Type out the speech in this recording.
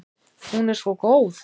Hún er svo góð.